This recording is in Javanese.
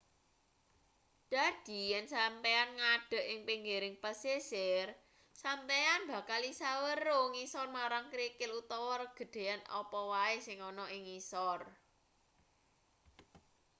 dadi yen sampeyan ngadeg ing pinggiring pesisir sampeyan bakal isa weruh ngisor marang krikil utawa regedan apa wae sing ana ing ngisor